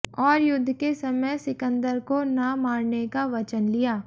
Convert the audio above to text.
और युद्ध के समय सिकंदर को ना मारने का वचन लिया